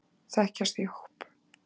Þekkjast í hóp.